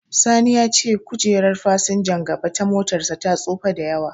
Sani ya ce kojerar fasinjan gaba ta motarsa ta tsufa da yawa.